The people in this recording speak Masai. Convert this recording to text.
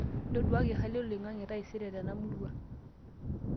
ntoduaki hali oloingange taisere tena murua